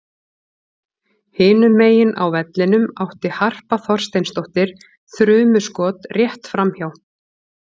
Hinum megin á vellinum átti Harpa Þorsteinsdóttir þrumuskot rétt framhjá.